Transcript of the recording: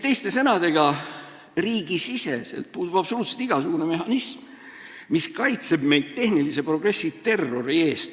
Teiste sõnadega, riigisiseselt puudub absoluutselt igasugune mehhanism, mis kaitseks meid tehnilise progressi terrori eest.